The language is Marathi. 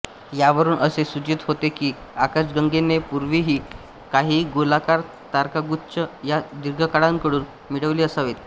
यावरून असे सूचित होते की आकाशगंगेने यापूर्वीही काही गोलाकार तारकागुच्छ या दीर्घिकांकडून मिळवले असावेत